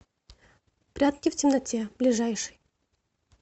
прятки в темноте ближайший